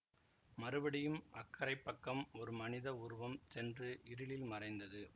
மறுபடியும் அக்கரைப் பக்கம் ஒரு மனித உருவம் சென்று இருளில் மறைந்தது